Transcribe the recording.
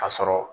Ka sɔrɔ